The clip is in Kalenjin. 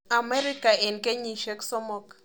Amerika eng kenyisiek somok.